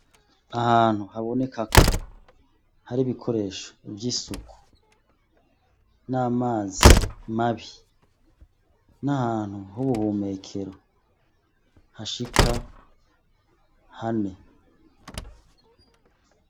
Ahantu habonekako hari ibikoresho vy'isuku n'amazi mabi n'ahantu hubuhumekero hashika hane.